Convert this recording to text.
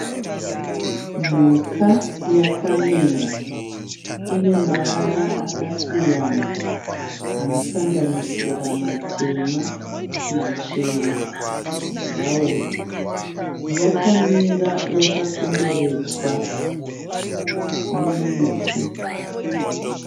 Mhuka yakamira. Inemavara akasiyana anosanganisira matema, machena bhurauni. Yakamira yakakomberedzwa nemiti.